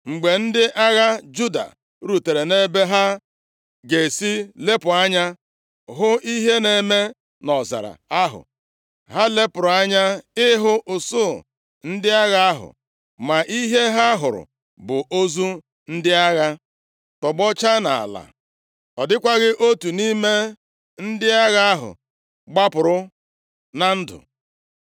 Mgbe ndị agha Juda rutere ebe ha ga-esi lepụ anya hụ ihe na-eme nʼọzara ahụ, ha lepụrụ anya ịhụ usuu ndị agha ahụ, ma ihe ha hụrụ bụ ozu ndị agha tọgbọcha nʼala. Ọ dịkwaghị otu nʼime ndị agha ahụ gbapụrụ na ndụ.